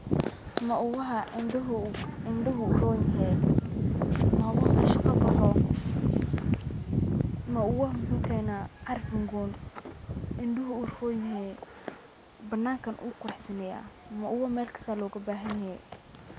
Mauwaha indhuhu uron yehe, mauwaha meshan kaboxo, mauwaha wuxuu kena caraf udgoon, indhuhu uron yehe, banankana wuu quraxsaneyaa, mauwaha Mel kista aya koga bahan yehe